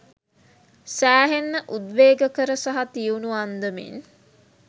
සෑහෙන්න උද්වේගකර සහ තියුණු අන්දමින්